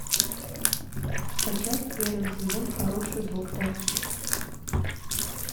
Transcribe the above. скачать первый сезон хороший доктор